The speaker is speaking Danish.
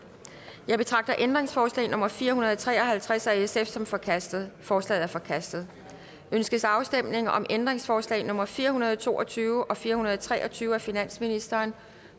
jeg betragter ændringsforslag nummer fire hundrede og tre og halvtreds af sf som forkastet forslaget er forkastet ønskes afstemning om ændringsforslag nummer fire hundrede og to og tyve og fire hundrede og tre og tyve af finansministeren